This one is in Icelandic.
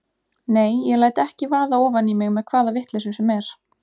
Nei, ég læt ekki vaða ofan í mig með hvaða vitleysu sem er.